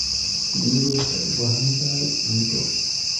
Shinnidu waxay u baahan tahay cunto.